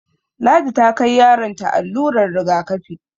Ladi ta kai yaron ta allurar rigakafi